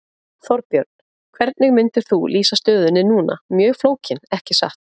Þorbjörn: Hvernig myndir þú lýsa stöðunni núna, mjög flókin ekki satt?